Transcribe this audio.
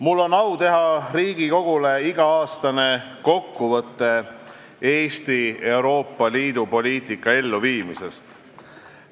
Mul on au teha Riigikogule iga-aastane kokkuvõte Eesti Euroopa Liidu poliitika elluviimisest.